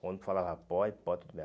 Quando falava, pode, pode, tudo bem.